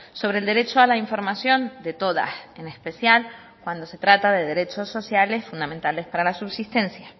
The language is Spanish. sobre el derecho a la información de todas en especial cuando se trata de derechos sociales fundamentales para la subsistencia